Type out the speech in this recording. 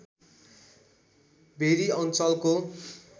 very अञ्चलको